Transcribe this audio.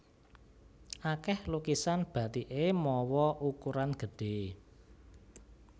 Akèh lukisan bathiké mawa ukuran gedhé